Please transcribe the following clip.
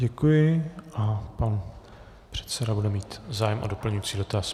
Děkuji a pan předseda bude mít zájem o doplňující dotaz.